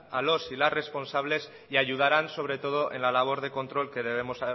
a los y las responsables y ayudarán sobre todo en la labor de control que debemos